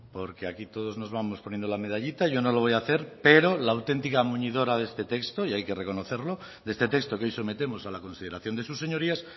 porque aquí todos nos vamos poniendo la medallita yo no lo voy a hacer pero la auténtica muñidora de este texto y hay que reconocerlo de este texto que hoy sometemos a la consideración de sus señorías